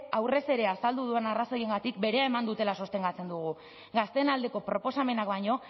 aurrez ere azaldu dudan arrazoiengatik berea eman dutela sostengatzen dugu gazteen aldeko proposamenak baino